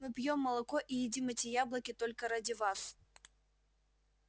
мы пьём молоко и едим эти яблоки только ради вас